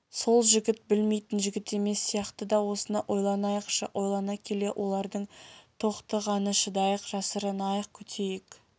сол жігіт білмейтін жігіт емес сияқты да осыны ойланайықшы ойлана келе олардың тоқтіғаны шыдайық жасырынайық күтейік